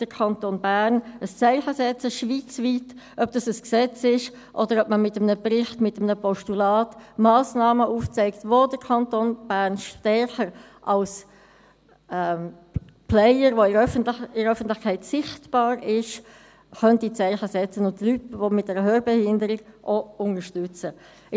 Der Kanton Bern sollte schweizweit ein Zeichen setzen, ob das mit einem Gesetz ist, oder ob man mit einem Bericht, mit einem Postulat, Massnahmen aufzeigt, wo der Kanton Bern stärker als Player, der in der Öffentlichkeit sichtbar ist, Zeichen setzen und Leute mit einer Hörbehinderung unterstützen könnte.